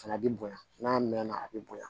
Fana bi bonya n'a mɛn na a bi bonya